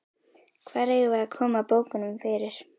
Hvar eigum við að koma bókunum fyrir?